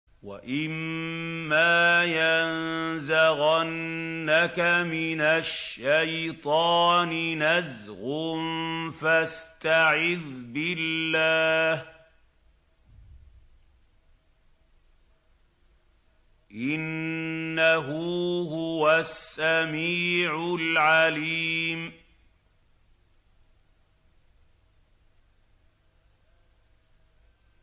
وَإِمَّا يَنزَغَنَّكَ مِنَ الشَّيْطَانِ نَزْغٌ فَاسْتَعِذْ بِاللَّهِ ۖ إِنَّهُ هُوَ السَّمِيعُ الْعَلِيمُ